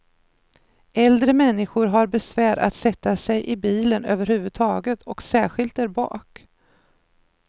Äldre människor har besvär att sätta sig i bilen överhuvudtaget, och särskilt där bak.